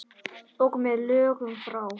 Og með lögum frá